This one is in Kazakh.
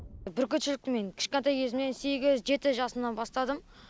бүркітшілікті мен кішкентай кезімнен сегіз жеті жасымнан бастадым